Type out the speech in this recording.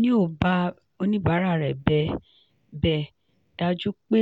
neo bá oníbàárà rẹ bẹ dájú pé